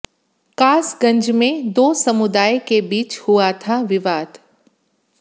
कासगंज में दो समुदाय के बीच हुआ था विवाद